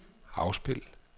afspil